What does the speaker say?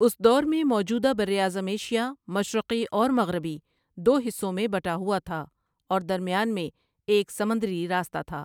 اس دور میں موجودہ بر اعظم ایشیا مشرقی اور مغربی دو حصوں میں بٹا ہوا تھا اور درمیان میں ایک سمندری راستہ تھا ۔